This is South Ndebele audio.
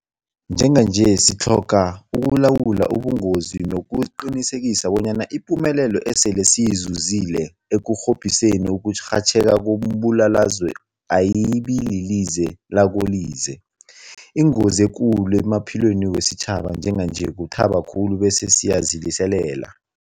Njenganje sitlhoga ukulawula ubungozobu nokuqinisekisa bonyana ipumelelo esele siyizuzile ekurhobhiseni ukurhatjheka kombulalazwe ayibililize lakolize. Ingozi ekulu emaphilweni wesitjhaba njenganje kuthaba khulu bese siyaziliselela.